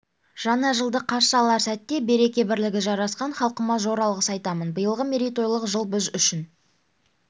жаңа жылды қарсы алар сәтте береке-бірлігі жарасқан халқыма зор алғыс айтамын биылғы мерейтойлық жыл біз үшін